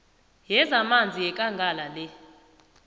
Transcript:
yezamanzi yekangala le